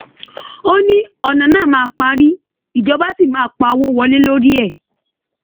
ó ní ọnà náà màá parí ìjọba ṣì máa pawọ wọlé lórí ẹ